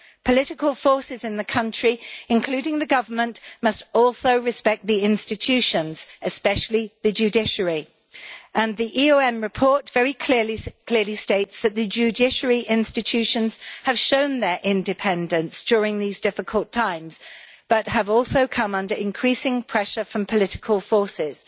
Political forces in the country, including the government, must also respect the institutions, especially the judiciary, and the election observation mission report very clearly states that the judiciary institutions have shown their independence during these difficult times, but have also come under increasing pressure from political forces.